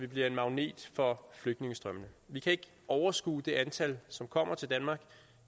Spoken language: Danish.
bliver en magnet for flygtningestrømmene vi kan ikke overskue det antal som kommer til danmark